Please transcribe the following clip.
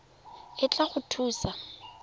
e tla go thusa go